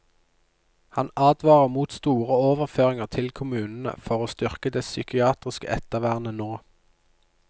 Han advarer mot store overføringer til kommunene for å styrke det psykiatriske ettervernet nå.